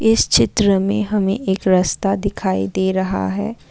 इस चित्र में हमें एक रास्ता दिखाई दे रहा है।